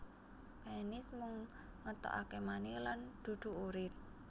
Penis mung ngetokaké mani lan dudu urin